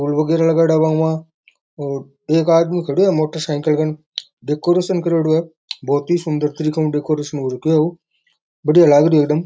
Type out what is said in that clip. फूल वगेरा लगायेड़ा इमां और एक आदमी खड़ा है मोटर साइकिल कान डेकोरेशन करेडो है बहुत ही सुन्दर तरीका हु डेकोरेशन राख्यो है बढ़िया लाग री है ए।